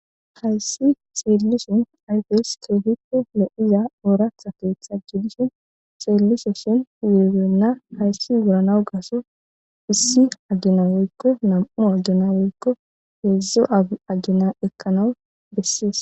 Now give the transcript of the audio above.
Hayssi seellishin ayfees keefikko le'iza ooratha keeththa jidishin seellise shin wuebenna hayssi uuranaw gaso issi agina woykko nam'u agena woykko heedzdzu agina ekkanawu bessees.